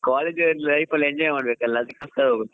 College life ಅಲ್ಲಿ enjoy ಮಾಡ್ಬೇಕಲ್ವಾ ಅದಿಕ್ಕೇನಂಥ ಹೋಗೋದು.